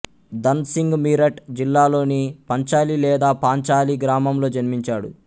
ధన్ సింగ్ మీరట్ జిల్లాలోని పంచలి లేదా పాంచాలి గ్రామంలో జన్మించాడు